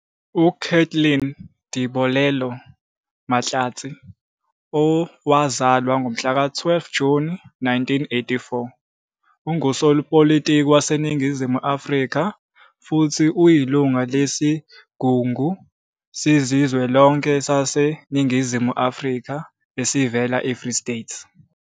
UKathleen Dibolelo Mahlatsi, owazalwa ngomhlaka 12 Juni 1984, ungusopolitiki waseNingizimu Afrika futhi uyilungu lesiGungu Sikazwelonke saseNingizimu Afrika esivela eFree State.